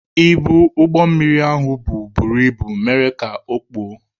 Ibu ụgbọ mmiri ahụ bu buru ibu mere ka okpuo.